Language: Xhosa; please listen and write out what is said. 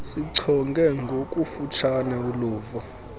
sichonge ngokufutshane uluvo